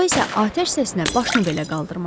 Co isə atəş səsinə başını belə qaldırmadı.